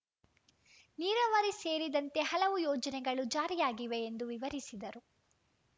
ನೀರಾವರಿ ಸೇರಿದಂತೆ ಹಲವು ಯೋಜನೆಗಳು ಜಾರಿಯಾಗಿವೆ ಎಂದು ವಿವರಿಸಿದರು